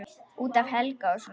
Út af Helga og svona.